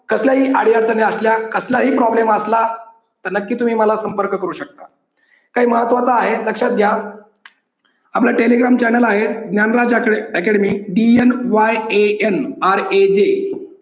कसल्या अडीअडचणी असल्या कसलाही problem असला तर नक्कीच तुम्ही मला संपर्क करू शकता काही महत्त्वाचा आहे. लक्षात घ्या. आपला telegram channel आहे ज्ञानराज आकडे academyDNYANRAJ